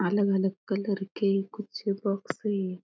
अलग अलग कलर के कुछ बॉक्स है।